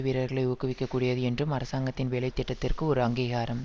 வீரர்களை ஊக்குவிக்கக் கூடியது என்றும் அரசாங்கத்தின் வேலை திட்டத்துக்கு ஒரு அங்கீகாரம்